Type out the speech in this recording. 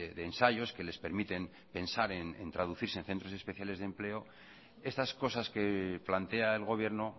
de ensayos que les permiten pensar en traducirse en centros especiales de empleo estas cosas que plantea el gobierno